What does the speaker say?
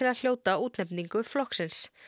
að hljóta útnefningu flokksins